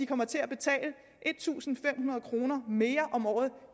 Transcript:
kommer til at betale en tusind fem hundrede kroner mere om året